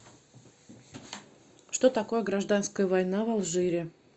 что такое гражданская война в алжире